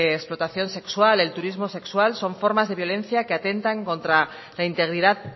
de explotación de sexual el turismo sexual son formas de violencia que atentan contra la integridad